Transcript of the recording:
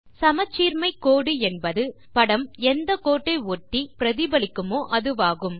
சமச்சீர்மை கோடு என்பது படம் எந்த கோட்டை ஒட்டி பிரதிபலிக்குமோ அதுவாகும்